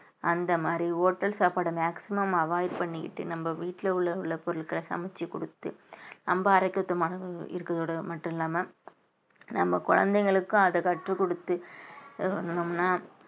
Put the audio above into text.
அந்த மாதிரி hotel சாப்பாடு maximum avoid பண்ணிக்கிட்டு நம்ம வீட்டுல உள்ள உள்ள பொருட்களை சமைச்சு கொடுத்து நம்ம ஆரோக்கியதத்துவமாகஇருக்கறதோட மட்டும் இல்லாம நம்ம குழந்தைகளுக்கும் அத கற்றுக் கொடுத்து சொன்னோம்னா